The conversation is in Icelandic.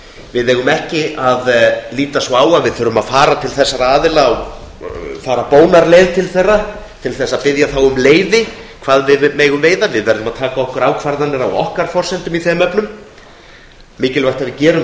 við eigum ekki að líta svo á að við þurfum að fara bónarleið til þessara aðila til að biðja þá um leyfi um hvað við megum veiða við verðum að taka ákvarðanir á okkar forsendum í þeim efnum það er mikilvægt að við gerum